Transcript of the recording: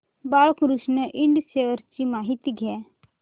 Balkrishna Ind shares ची माहिती द्या